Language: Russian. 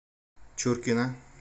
чуркина